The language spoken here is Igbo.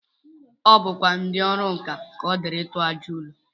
O bukwa ndị ọrụ nkà ka ọ dịịrị ịtụ àjà ụlọ